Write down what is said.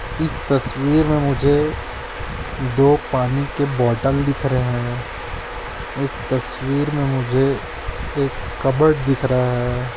इस तस्वीर में मुझे दो पानी के बोतल दिख रहे है इस तस्वीर में मुझे एक कबर्ड दिख रहा है।